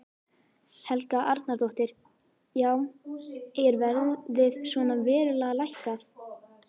Helga Arnardóttir: Já er verðið svona verulega lækkað?